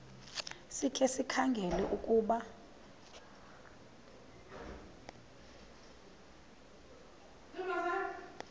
sikhe sikhangele ukuba